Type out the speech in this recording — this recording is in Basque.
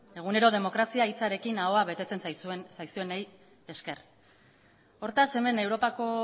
egunero demokrazia hitzarekin ahoa betetzen zaizuenei esker hortaz hemen europako